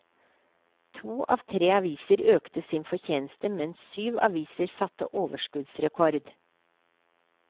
To av tre aviser økte sin fortjeneste, mens syv aviser satte overskuddsrekord.